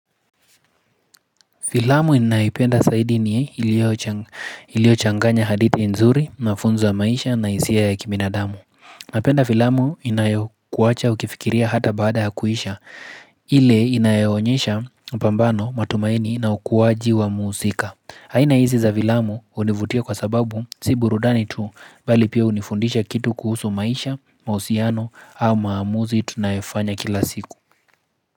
Vilaamu inaipenda saidi ni ilio changanya hadithi nzuri, mafunzo ya maisha na hisia ya kibinadamu. Napenda filaamu inayokuwacha ukifikiria hata baada hakuisha, ile inaionyesha upambano matumaini na ukuwaji wa muhusika. Haina hizi za filamu univutia kwa sababu si burudani tu, bali pia unifundisha kitu kuhusu maisha, mahusiano, au maamuzi tunayefanya kila siku.